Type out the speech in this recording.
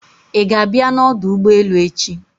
Ị ga-abịa n'ọdọ ụgbọelu echi?